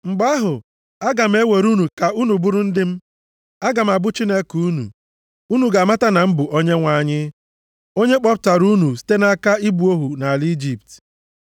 Mgbe ahụ, aga m ewere unu ka unu bụrụ ndị m. Aga m abụ Chineke unu. Unu ga-amata na m bụ Onyenwe anyị, onye kpọpụtara unu site nʼaka ịbụ ohu nʼala Ijipt.